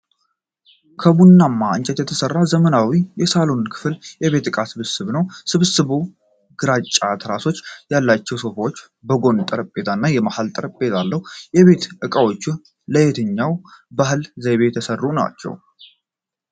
ከቡናማ እንጨት የተሰራ ዘመናዊ የሳሎን ክፍል የቤት ዕቃዎች ስብስብ ነው። ስብስቡ ግራጫ ትራሶች ያሏቸው ሶፋዎች፣ የጎን ጠረጴዛዎች እና የመሀል ጠረጴዛ አለው። የቤት እቃዎቹ ለየትኛው ባህል ዘይቤ የተሰሩ ናቸው?